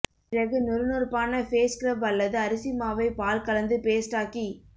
பிறகு நொறுநொறுப்பான face scrub அல்லது அரிசிமாவை பால் கலந்து பேஸ்டாக்கி